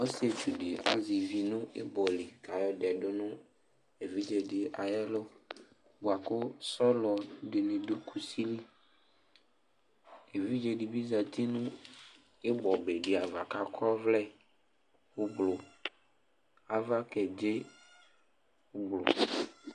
Ɔsɩetsu dɩ azɛ ivi nʋ ɩbɔ li kʋ ayɔdɛ dʋ nʋ evidze ayʋ ɛlʋ bʋa kʋ sɔlɔ dɩnɩ dʋ kusi li Evidze dɩ bɩ zati nʋ ɩbɔbe dɩ ava kʋ akɔ ɔvlɛ ʋblʋ Ava kedze ʋblʋ